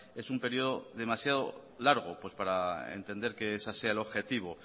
es un periodo demasiado largo para entender que ese sea el objetivo